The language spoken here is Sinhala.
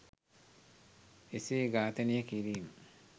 එසේ ඝාතනය කිරීම